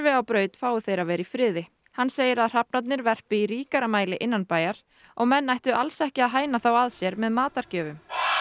á braut fái þeir að vera í friði hann segir að hrafnarnir verpi í ríkara mæli innanbæjar og menn ættu alls ekki að hæna þá að sér með matargjöfum